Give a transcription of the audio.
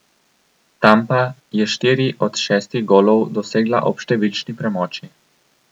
Tampa je štiri od šestih golov dosegla ob številčni premoči.